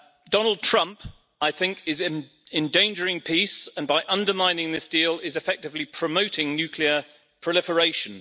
Donald Trump is endangering peace, and by undermining this deal is effectively promoting nuclear proliferation.